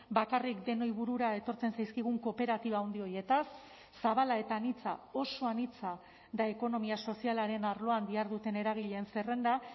bakarrik denoi burura etortzen zaizkigun kooperatiba handi horietaz zabala eta anitza oso anitza da ekonomia sozialaren arloan diharduten eragileen zerrenda